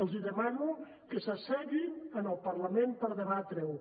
els demano que s’asseguin en el parlament per debatre ho